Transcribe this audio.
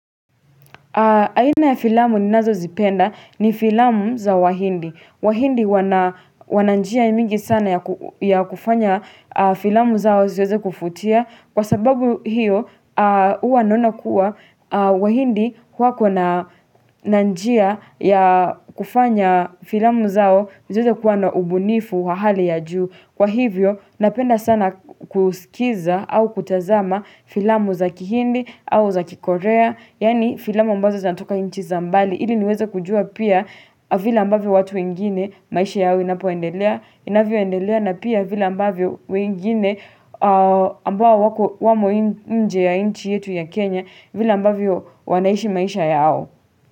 Aina ya filamu ninazozipenda ni filamu za wahindi. Wahindi wana njia mingi sana ya kufanya filamu zao ziweze kuvutia kwa sababu hiyo huwa naona kua wahindi wako na njia ya kufanya filamu zao ziweze kuwa na ubunifu wa hali ya juu. Kwa hivyo, napenda sana kusikiza au kutazama filamu za kihindi au za kikorea Yani filamu ambazo zinatoka nchi za mbali ili niweze kujua pia vile ambavyo watu wengine maisha yao inapoendelea inavyoendelea na pia vila ambavyo wengine ambao wako wamo nje ya inchi yetu ya Kenya vile ambavyo wanaishi maisha yao.